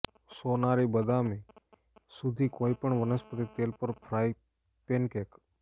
સોનારી બદામી સુધી કોઈપણ વનસ્પતિ તેલ પર ફ્રાય પેનકેક